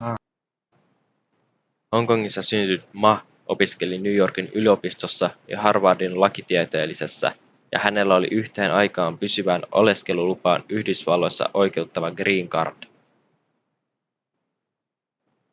hongkongissa syntynyt ma opiskeli new yorkin yliopistossa ja harvardin lakitieteellisessä ja hänellä oli yhteen aikaan pysyvään oleskelulupaan yhdysvalloissa oikeuttava green card